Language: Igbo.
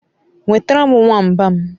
Nwetere m nwamba m